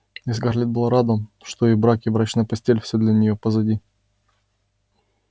и скарлетт была рада что и брак и брачная постель-всё для неё позади